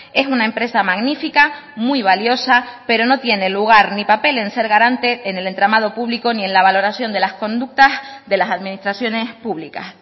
es una empresa magnifica muy valiosa pero no tiene lugar ni papel en ser garante en el entramado público ni en la valoración de las conductas de las administraciones públicas